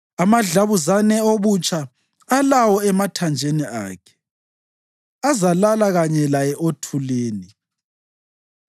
Amadlabuzane obutsha alawo emathanjeni akhe azalala kanye laye othulini.